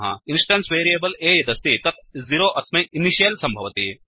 instance variable a यदस्ति तत् 0 अस्मै इनिशियल् सम्भवति